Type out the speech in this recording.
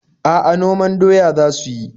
A'a, noman doya za su yi.